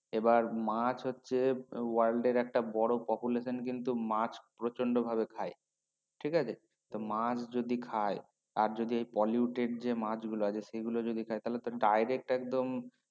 এবার মাছ হচ্ছে world এর বড় population কিন্তু মাছ প্রচণ্ড ভাবে খায় ঠিক আছে তো মাছ যদি খায় তার যদি Polluted যে মাছ গুলো আছে সেগুলো যদি খায় তা হলে তো direct একদম